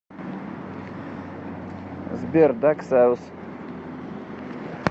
сбер дак саус